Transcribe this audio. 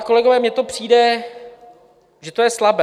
A, kolegové, mně to přijde, že to je slabé.